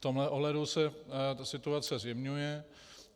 V tomto ohledu se situace zjemňuje.